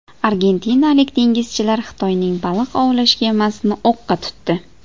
Argentinalik dengizchilar Xitoyning baliq ovlash kemasini o‘qqa tutdi.